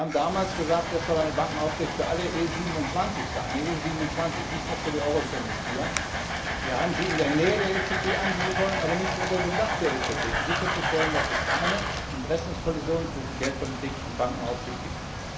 Wir haben damals gesagt, das soll eine Bankenaufsicht für alle EU 27 sein, nicht nur für die Mitglieder der Eurozone. Wir haben sie in der Nähe der EZB ansiedeln wollen, aber nicht unter dem Dach der EZB, um sicherzustellen, dass es keine Interessenkollisionen zwischen Geldpolitik und Bankenaufsicht gibt.